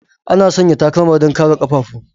Ana sanya takalma don kare ƙafafu.